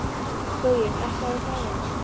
Gaui, lækkaðu í græjunum.